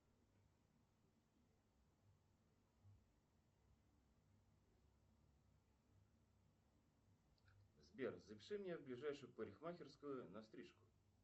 сбер запиши меня в ближайшую парикмахерскую на стрижку